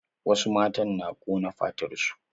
Wasu matan na ƙona fatar su.